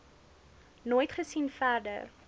nooit gesien verder